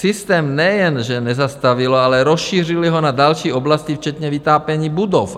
Systém nejen že nezastavilo, ale rozšířili ho na další oblasti včetně vytápění budov.